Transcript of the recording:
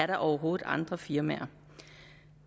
der overhovedet er andre firmaer